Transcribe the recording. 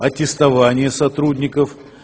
аттестованние сотрудников